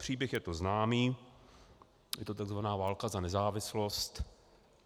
Příběh je to známý, je to tzv. válka za nezávislost.